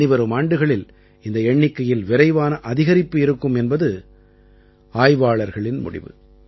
இனிவரும் ஆண்டுகளில் இந்த எண்ணிக்கையில் விரைவான அதிகரிப்பு இருக்கும் என்பது ஆய்வாளர்களின் முடிவு